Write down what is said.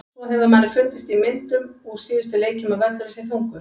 Svo hefur manni fundist í myndum úr síðustu leikjum að völlurinn sé þungur.